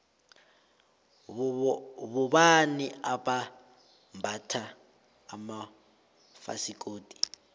bobani abambatha amafasikodu